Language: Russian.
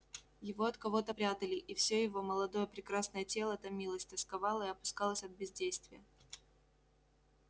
его от кого-то прятали и все его молодое прекрасное тело томилось тосковало и опускалось от бездействия